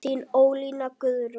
Þín Ólína Guðrún.